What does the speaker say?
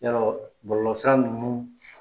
Yarɔ bɔlɔlɔsira ninnu